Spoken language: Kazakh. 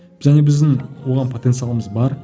және біздің оған потенциалымыз бар